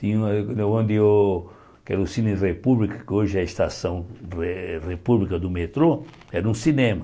Tinha o onde o que era Cine República, que hoje é a Estação Re República do metrô, era um cinema.